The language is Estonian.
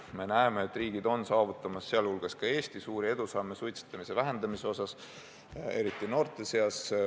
Me näeme, et riigid, sh Eesti, on saavutamas suuri edusamme suitsetamise vähendamisel, eriti noorte seas.